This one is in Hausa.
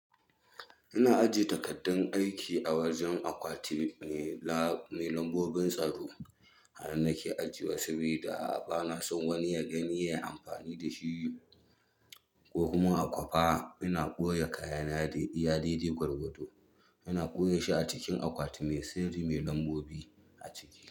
Ina ajiye takardun aiki a wajen akwati. Mai lambobin tsaro. A nan nake ajiyewa, saboda bana son wani ya gani ya yi amfani da shi. Ko kuma a kwafa. Ina ɓoye kayana dai iya gwargwado. Ina ɓoye shi a cikin akwati mai sirri, mai lambobi a ciki.